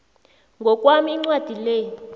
ngokwami incwadi le